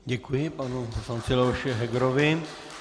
Děkuji panu poslanci Leoši Hegerovi.